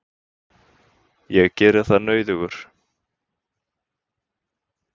Ég geri það nauðugur.